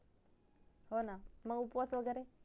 हो ना मग उपवास वगरे